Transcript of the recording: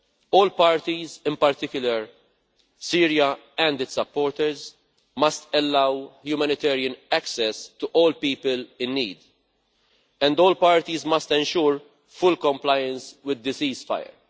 All parties, in particular Syria and its supporters, must allow humanitarian access to all people in need, and all parties must ensure full compliance with the ceasefire.